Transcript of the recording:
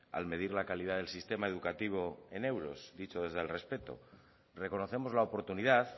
al medir la calidad del sistema educativo en euros dicho desde el respeto reconocemos la oportunidad